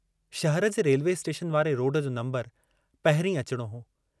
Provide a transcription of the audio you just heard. शहर जे railway station वारे रोड जो नम्बरु पहिरीं अचणो हो।